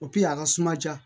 a ka suma ja